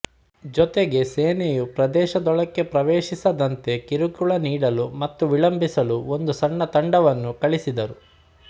ಜೊತೆಗೆ ಸೇನೆಯು ಪ್ರದೇಶದೊಳಕ್ಕೆ ಪ್ರವೇಶಿಸದಂತೆ ಕಿರುಕುಳ ನೀಡಲು ಮತ್ತು ವಿಳಂಬಿಸಲು ಒಂದು ಸಣ್ಣ ತಂಡವನ್ನು ಕಳಿಸಿದರು